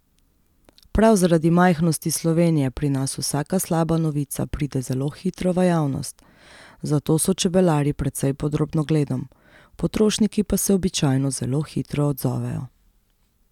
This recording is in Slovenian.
Prav zaradi majhnosti Slovenije pri nas vsaka slaba novica pride zelo hitro v javnost, zato so čebelarji precej pod drobnogledom, potrošniki pa se običajno zelo hitro odzovejo.